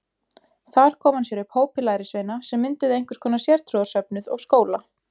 Þar kom hann sér upp hópi lærisveina sem mynduðu einhvers konar sértrúarsöfnuð og skóla.